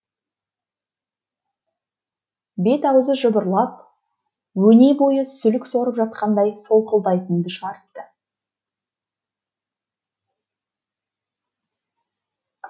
бет аузы жыбырлап өне бойы сүлік сорып жатқандай солқылдайтынды шығарыпты